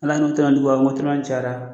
Ala n'u tɛ na n'i bɔ motelan cayara